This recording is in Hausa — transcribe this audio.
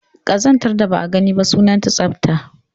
Ƙazantar da ba a gani ba, sunanta tsafta